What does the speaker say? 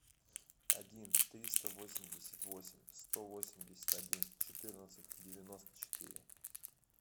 один триста восемьдесят восемь сто восемьдесят один четырнадцать девяносто четыре